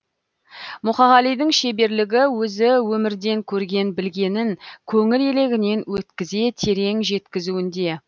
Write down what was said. мұқағалидің шеберлігі өзі өмірден көрген білгенін көңіл елегінен өткізе терең жеткізуінде